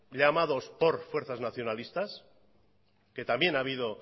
llamados por fuerzas nacionalistas que también ha habido